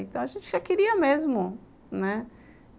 Então, a gente já queria mesmo, né?